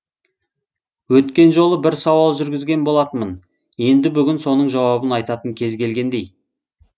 өткен жолы бір сауал жүргізген болатынмын енді бүгін соның жауабын айтатын кез келгендей